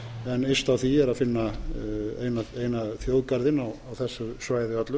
en yst á því er að finna eina þjóðgarðinn á þessu svæði öllu